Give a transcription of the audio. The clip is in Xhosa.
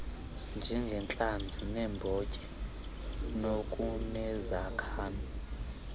njengentlanzi neembotyi nokunezakha